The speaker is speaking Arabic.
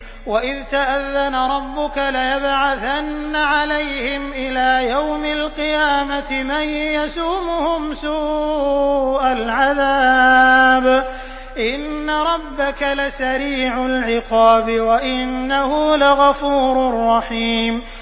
وَإِذْ تَأَذَّنَ رَبُّكَ لَيَبْعَثَنَّ عَلَيْهِمْ إِلَىٰ يَوْمِ الْقِيَامَةِ مَن يَسُومُهُمْ سُوءَ الْعَذَابِ ۗ إِنَّ رَبَّكَ لَسَرِيعُ الْعِقَابِ ۖ وَإِنَّهُ لَغَفُورٌ رَّحِيمٌ